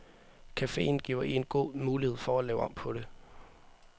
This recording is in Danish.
Caféen giver en god mulighed for at lave om på det.